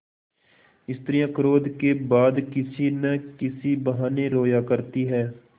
स्त्रियॉँ क्रोध के बाद किसी न किसी बहाने रोया करती हैं